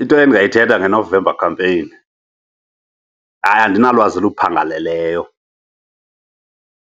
Into endingayithetha ngeNovember Campaign, hayi andinalwazi luphangaleleyo,